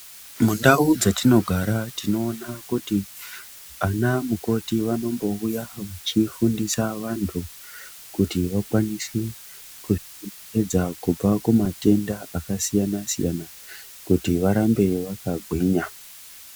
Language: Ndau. Mundau dzetinogara tinoona kuti ana mukoti vanombouya vechifundisa vantu kuti vakwanise kuzvidza kubva kumatenda akasiyana siyana kuti varambe vakagwinya.